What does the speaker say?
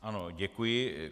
Ano, děkuji.